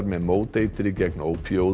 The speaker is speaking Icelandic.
með móteitri gegn